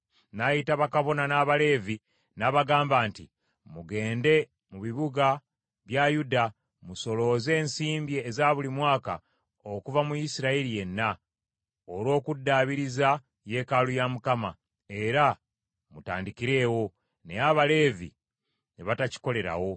N’ayita bakabona n’Abaleevi, n’abagamba nti, “Mugende mu bibuga bya Yuda, musolooze ensimbi eza buli mwaka okuva mu Isirayiri yenna, olw’okuddaabiriza yeekaalu ya Mukama , era mutandikirewo.” Naye Abaleevi ne batakikolerawo.